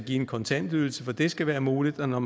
en kontantydelse for at det skal være muligt og når